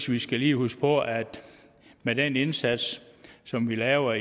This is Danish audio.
vi skal lige huske på at med den indsats som vi laver